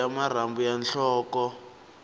a dya marhambu ya nhloko